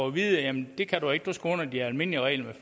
at vide at jamen det kan du ikke for du skal under de almindelige regler